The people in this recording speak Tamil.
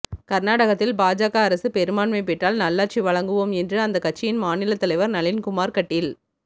கா்நாடகத்தில் பாஜக அரசு பெரும்பான்மை பெற்ால் நல்லாட்சி வழங்குவோம் என்று அந்தக் கட்சியின் மாநிலத்தலைவா் நளின்குமாா் கட்டீல்